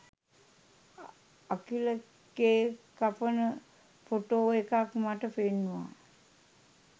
Akila cake කපන photo එකක් මට පෙන්නුවා